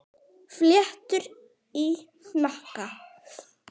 Fléttur í hnakka.